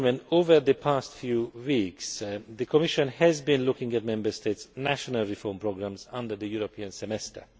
Over the past few weeks, the Commission has been looking at Member States' national reform programmes under the European Semester.